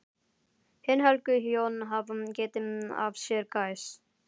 Hin helgu hjón hafa getið af sér gæs.